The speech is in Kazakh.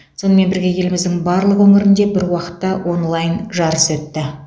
сонымен бірге еліміздің барлық өңірінде бір уақытта онлайн жарыс өтті